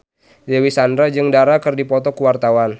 Dewi Sandra jeung Dara keur dipoto ku wartawan